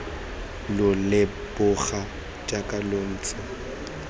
lo leboga jaaka lo ntse